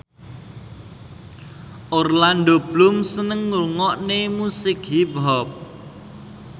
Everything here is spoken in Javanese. Orlando Bloom seneng ngrungokne musik hip hop